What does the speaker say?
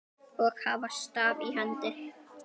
og hafa staf í hendi.